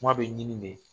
Kuma bɛ ɲini de